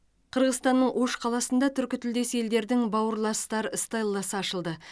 қырғызстанның ош қаласында түркітілдес елдердің бауырластар стелласы ашылды